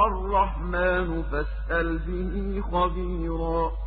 الرَّحْمَٰنُ فَاسْأَلْ بِهِ خَبِيرًا